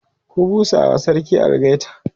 ku busawa sarki algaita!